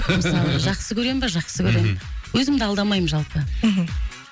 мысалы жақсы көремін ба жақсы көремін өзімді алдамаймын жалпы мхм